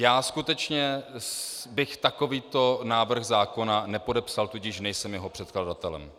Já skutečně bych takovýto návrh zákona nepodepsal, tudíž nejsem jeho předkladatelem.